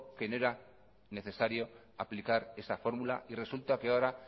que no era necesario aplicar esa fórmula y resulta que ahora